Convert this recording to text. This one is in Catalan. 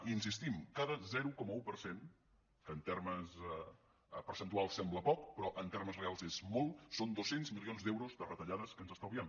hi insistim cada zero coma un per cent que en termes percentuals sembla poc però en termes reals és molt són dos cents milions d’euros de retallades que ens estalviem